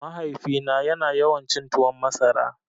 Mahaifina ya na yawan cin tuwon masara